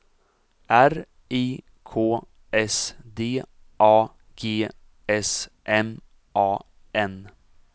R I K S D A G S M A N